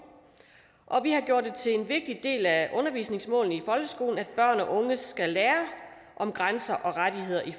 og vi har gjort det til en vigtig del af undervisningsmålene i folkeskolen at børn og unge skal lære grænser og rettigheder i